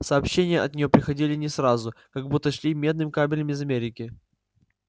сообщения от неё приходили не сразу как будто шли медным кабелем из америки